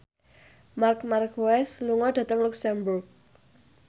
Marc Marquez lunga dhateng luxemburg